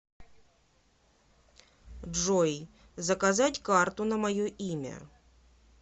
джой заказать карту на мое имя